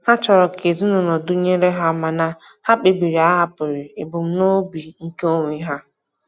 Ha chọrọ ka ezinụlọ dụnyere ha mana ha kpebiri ahapụghị ebumnobi nke onwe ha.